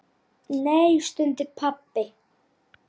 Þú verður að reikna Pétur.